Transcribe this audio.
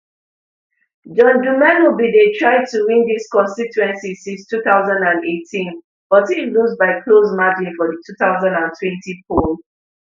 john dumelo bin dey try to win dis constituency since two thousand and eighteen but im lose by close margin for di two thousand and twenty poll